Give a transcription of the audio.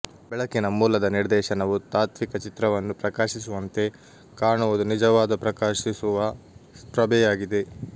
ಬೆಳಕಿನ ಮೂಲದ ನಿರ್ದೇಶನವು ತಾತ್ವಿಕ ಚಿತ್ರವನ್ನು ಪ್ರಕಾಶಿಸುವಂತೆ ಕಾಣುವುದು ನಿಜವಾದ ಪ್ರಕಾಶಿಸುವ ಪ್ರಭೆಯಾಗಿದೆ